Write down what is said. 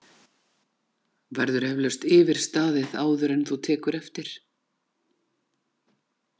Verður eflaust yfirstaðið, áður en þú tekur eftir?!